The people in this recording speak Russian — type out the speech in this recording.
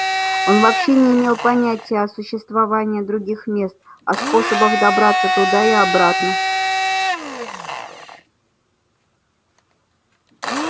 он вообще не имел понятия о существовании других мест а о способах добраться туда и обратно